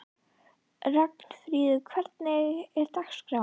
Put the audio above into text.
Ragnfríður, hvernig er dagskráin?